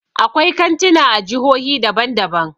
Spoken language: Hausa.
Akwai kantuna a jihohi daban daban.